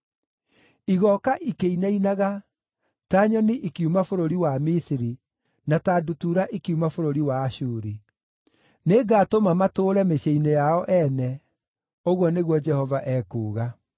Igooka ikĩinainaga ta nyoni ikiuma bũrũri wa Misiri, na ta ndutura ikiuma bũrũri wa Ashuri. Nĩngatũma matũũre mĩciĩ-inĩ yao ene,” ũguo nĩguo Jehova ekuuga.